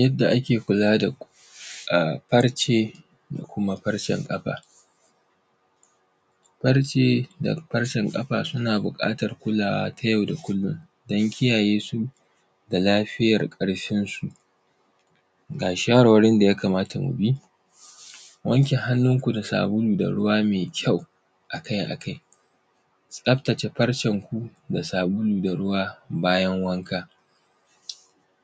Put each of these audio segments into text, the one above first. Yadda ake kula da a farce da kuma farcen ƙafa. Farce da farcen ƙafa suna biƙatar kulawa ta yau da kullun don kiyaye su da lafiyar ƙarfinsu. Ga shawarwarin da ya kamata mu bi: wanke hannunku da sabulu da ruwa me kyau a kai a kai. Tsaftace farcenku da sabulu da ruwa bayan wanka,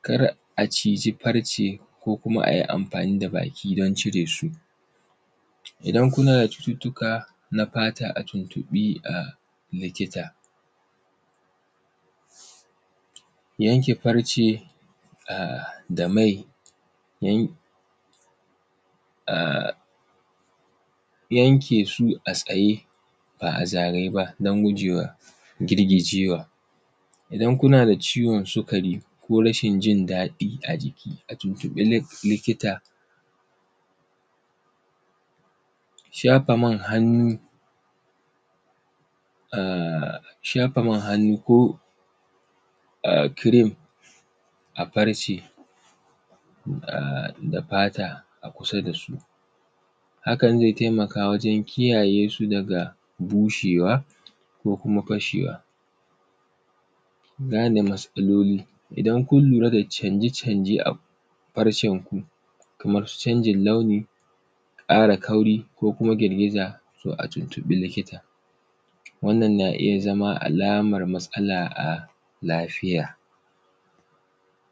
kar a ciji farce ko kuma a yi amfani da baki don cire su. Idan kuna da cututtuka na fata a tuntuƃi a likita. Yanke farce a da mai yan; a; yanke su a tsaye ba a zagaye ba don guje wa girgijewa. Idan kuna da ciwon sukari ko rashin jin daɗi a jiki a tuntuƃi li; likita. Shafa man hannu, a; shafa man hannu ko a; “cream” a farce a da fata a kusa da su. Hakan, ze temaka wajen kiyaye su daga bushewa da kuma fashewa. Gane matsaloli, idan kun lura da canje-canje a farcenku kamar canjin launi, ƙara fari ko kuma girgiza, to a tuntuƃi likita. Wannan na iya zama alamar matsala a lafiya.